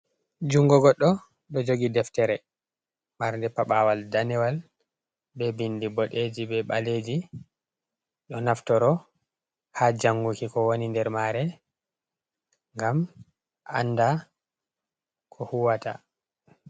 Jungo godɗo ɗo jogi Deftere. Marde Paɓaawal daniwal be bindi boɗeji be baleji. Ɗo naftoro ha janguki kowoni nder mare ngam anda ko huwata.